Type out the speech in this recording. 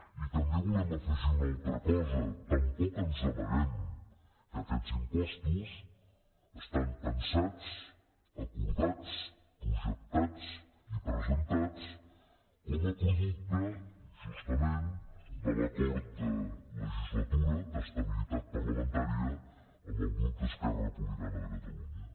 i també volem afegir una altra cosa tampoc ens amaguem que aquests impostos estan pensats acordats projectats i presentats com a producte justament de l’acord de legislatura d’estabilitat parlamentària amb el grup d’esquerra republicana de catalunya